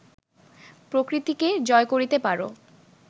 প্রকৃতিকে জয় করিতে পার